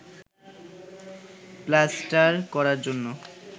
plaster করার জন্য